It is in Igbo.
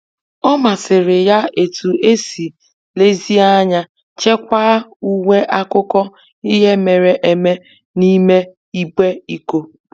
Ọ masịrị ya etu e si nlezianya chekwaa uwe akụkọ ihe mere eme n'ime igbe iko.